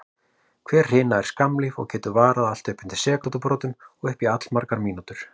Hver hrina er skammlíf og getur varað allt frá sekúndubrotum og upp í allmargar mínútur.